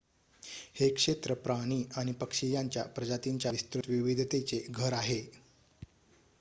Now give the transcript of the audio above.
हे क्षेत्र प्राणी आणि पक्षी यांच्या प्रजातींच्या विस्तृत विविधतेचे घर आहे